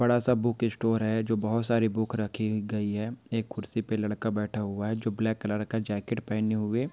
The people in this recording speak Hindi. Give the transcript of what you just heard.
बड़ा सा बुक स्टोर है जो बहुत सारी बुक रखी गई है एक कुर्सी पे लड़का बैठा हुआ है जो ब्लैक कलर का जैकेट पहने हुए --